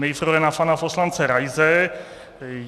Nejprve na pana poslance Raise.